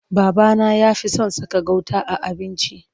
Babana ya fi son saka gauta a abinci.